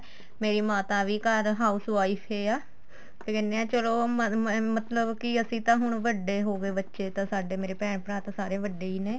ਮੇਰੀ ਮਾਤਾ ਵੀ ਘਰ house wife ਈ ਆ ਕੀ ਕਹਿਨੇ ਏ ਚਲੋ ਮ ਮ ਮਤਲਬ ਕੀ ਅਸੀਂ ਤਾਂ ਹੁਣ ਵੱਡੇ ਹੋ ਗਏ ਬੱਚੇ ਤਾਂ ਮੇਰੇ ਭੈਣ ਭਰਾ ਤਾਂ ਸਾਰੇ ਵੱਡੇ ਈ ਨੇ